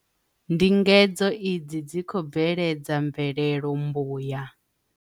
Ndingedzo idzi dzi khou bveledza mvelelo mbuya.